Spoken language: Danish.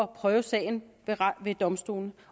prøve sagen ved domstolene